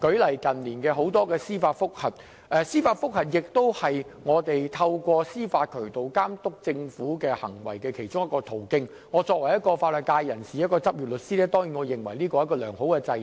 當然，司法覆核是我們透過司法渠道監督政府行為的其中一個途徑，作為一名法律界人士，一名執業律師，我當然認為這是一個良好制度。